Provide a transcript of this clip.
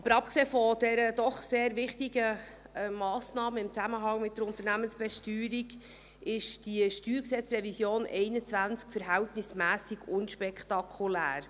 Aber abgesehen von dieser doch sehr wichtigen Massnahme im Zusammenhang mit der Unternehmensbesteuerung ist diese StG-Revision 2021 verhältnismässig unspektakulär.